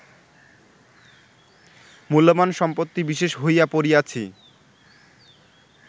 মূল্যবান সম্পত্তি বিশেষ হইয়া পড়িয়াছি